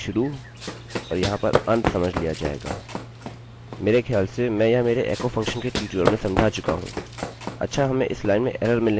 अच्छा हमें इस लाइन में एररerrorमिलने का कारण यह है क्योंकि यह डबलdoubleउद्धरणचिन्होंquotes की पहली उपस्थिति है जहाँ इसे नहीं होना चाहिए